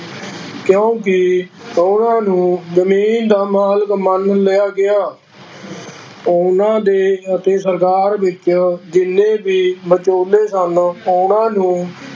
ਕਿਉਂਕਿ ਉਹਨਾਂ ਨੂੰ ਜ਼ਮੀਨ ਦਾ ਮਾਲਕ ਮੰਨ ਲਿਆ ਗਿਆ ਉਹਨਾਂ ਦੇ ਅਤੇ ਸਰਕਾਰ ਵਿੱਚ ਜਿੰਨੇ ਵੀ ਵਿਚੋਲੇ ਸਨ, ਉਹਨਾਂ ਨੂੰ